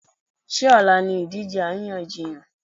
Ṣé ọ̀la ni ìdíje àríyànjiyàn?